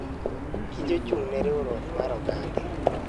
Kich ochung'ne riwruok mar oganda.